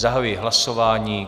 Zahajuji hlasování.